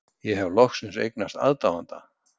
Ég hef loksins eignast aðdáanda.